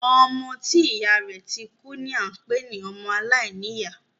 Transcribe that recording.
Ọmọ tí ìyá rẹ̀ ti kú ni a ń pé ní ọmọ aláìníyá.